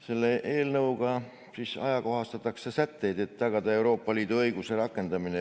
Selle eelnõuga ajakohastatakse sätteid, et tagada Euroopa Liidu õiguse rakendamine.